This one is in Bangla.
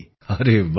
আরে বাহ